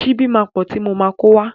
Ṣíbí máa pọ̀ ti mo máa kówá.